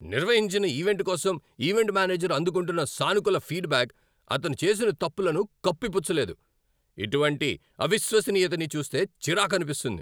నిర్వహించిన ఈవెంట్ కోసం event manager అందుకుంటున్న సానుకూల ఫీడ్ బ్యాక్ అతను చేసిన తప్పులను కప్పిపుచ్చలేదు. ఇటువంటి అవిశ్వసనీయతని చూస్తే చిరాకనిపిస్తుంది.